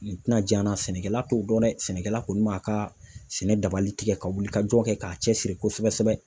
N tɛna jan na sɛnɛkɛla t'o dɔn dɛ sɛnɛkɛla kɔni b'a ka sɛnɛ dabali tigɛ ka wuli ka jɔ kɛ k'a cɛsiri kosɛbɛ kosɛbɛ.